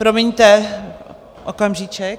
Promiňte, okamžíček.